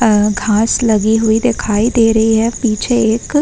अ घास लगी हुई दिखाई दे रही है। पीछे एक --